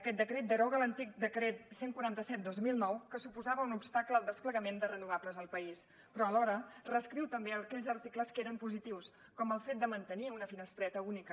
aquest decret deroga l’antic decret cent i quaranta set dos mil nou que suposava un obstacle al desplegament de renovables al país però alhora reescriu també aquells articles que eren positius com el fet de mantenir una finestreta única